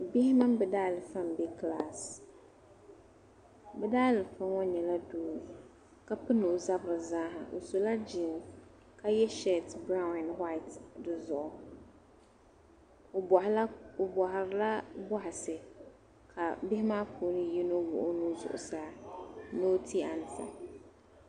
Bihi mini bɛ daa liifa n bɛ klass bɛ daalifa ŋɔ nyɛla doo ka pini ɔ zabiri zaaha ɔ sɔla jiins ka ye shete branw and white dizuɣu ɔ bɔhiri la bɔhisi ka bihi maa puuni yinɔ wuɣi ɔ nuu zuɣu saa ni ɔ ti an sa.